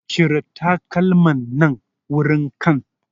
Cire takalman nan wurin can